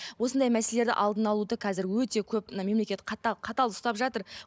осындай мәселелерді алдын алуды қазір өте көп мына мемлекет қатал қатал ұстап жатыр